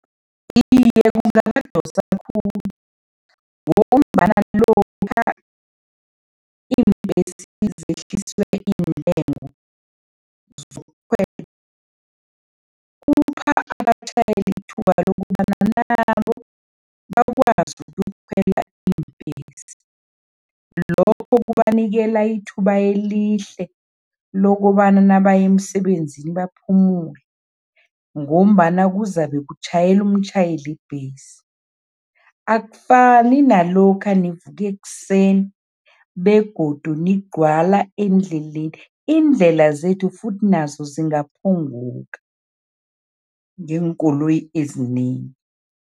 Iye, kungabadosa khulu ngombana lokha iimbhesi zehliswe iintengo zokukhwela, kupha abatjhayeli ithuba lokobana nabo bakwazi ukuyokukhwela iimbhesi. Lokho kubanikela ithuba elihle lokobana nabaya emsebenzini baphumule ngombana kuzabe kutjhayela umtjhayeli webhesi. Akufani nalokha nivuka ekuseni begodu nigcwala endleleni, iindlela zethu futhi nazo zingaphunguka ngeenkoloyi ezinengi.